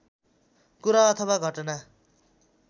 कुरा अथवा घटना